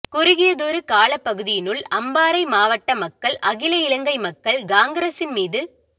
குறுகியதொரு காலப்பகுதியினுள் அம்பாறை மாவட்ட மக்கள் அகில இலங்கை மக்கள் காங்கிரஸின் மீது